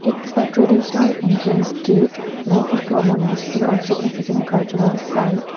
it's a traditional entrance gate likely to a monastery or significant cultural site.